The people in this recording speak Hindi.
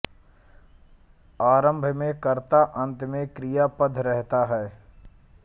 आरंभ में कर्ता अंत में क्रियापद रहता है